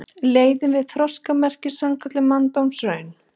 Leiðin væri þroskamerki, sannkölluð manndómsraun.